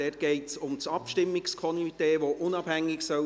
– Hier geht es um das Abstimmungskomitee, welches unabhängig sein soll.